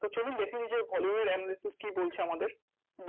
তো চলুন দেখে নিই যে, volume এর কি বলছে আমাদের?